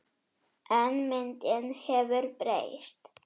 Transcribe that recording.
En myndin hefur breyst.